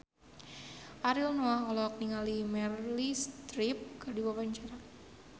Ariel Noah olohok ningali Meryl Streep keur diwawancara